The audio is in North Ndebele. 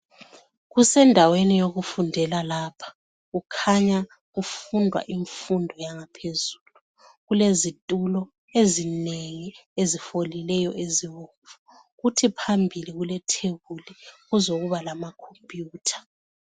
Kusendaweni yokufundela lapha kukhanya kufundwa imfundo yangaphezulu kulezitulo ezinengi ezifolileyo ezibomvu kuthi mpambili kulethebuli kuzokuba lamakhomputha.